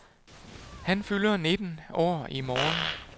Han fylder nitten år i morgen